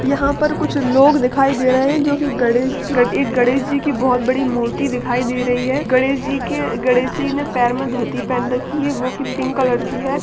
यहाँ पर कुछ लोग दिखाई दे रहें हैं जो गणेश जी की एक बोहोत बड़ी मूर्ति दिखाई दे रही है गणेश जी के गणेश जी ने पैर में धोती पहनी है वो भी पिंक कलर की है।